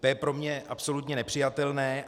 To je pro mě absolutně nepřijatelné.